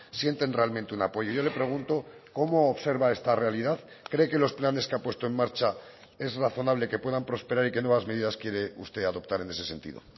sienten realmente un apoyo yo le pregunto cómo observa esta realidad cree que los planes que ha puesto en marcha es razonable que puedan prosperar y qué nuevas medidas quiere usted adoptar en ese sentido